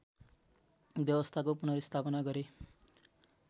व्यवस्थाको पुनर्स्थापना गरे